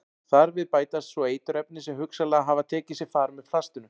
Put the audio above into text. Þar við bætast svo eiturefni sem hugsanlega hafa tekið sér far með plastinu.